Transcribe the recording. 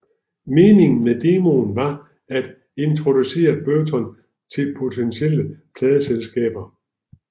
Meningen med demoen var at introducere Burton til potentielle pladeselskaber